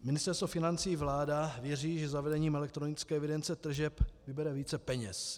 Ministerstvo financí i vláda věří, že zavedením elektronické evidence tržeb vybere více peněz.